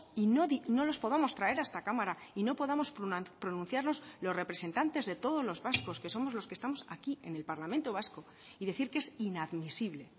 y no los podamos traer a esta cámara y no podamos pronunciarlos los representantes de todos los vascos que somos los que estamos aquí en el parlamento vasco y decir que es inadmisible